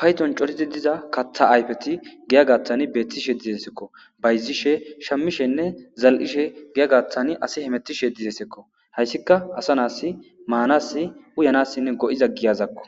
payxon corizi diza katha ayfeti giya gattan beettishe dizesekko bayzishe shammishenne zal'ishe giya gatan asi hemetishe dizesekko hayssika asa naasi maanas uyanassinne go'iza giyazakko.